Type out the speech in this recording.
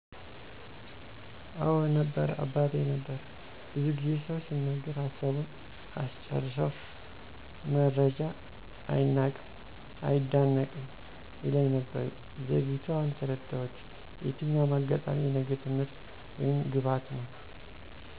አወ ነበር አባቴ ነበር። ብዙ ጊዜ ሰው ሲናገር ሀሳቡን አስጨርሰው መረጃ አይናቅም አይደነቅም ይለኝ ነበር። ዘግይቶ አሁን ተረዳሁት የትኛውም አጋጣሚ የነገ ትምህርት ወይም ግባት ነው።